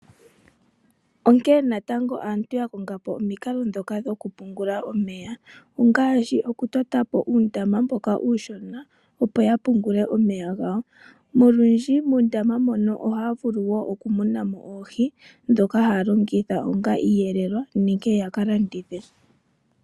Onkee natango aantu ya konga po omikalo dhoka dhoku pungula omeya ongaashi oku totapo uundama mboka uushona opo ya pungule omeya gawo nolundji muundama muno ohaa vulu wo oku munamo oohi dhoka haya longitha onga iiyelelwa nenge ya ka landithe.